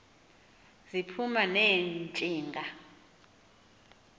ziphuma ne ntshinga